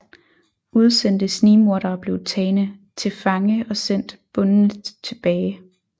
Udsendte snigmordere blev tagne til fange og sendt bundne tilbage